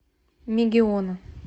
мегиона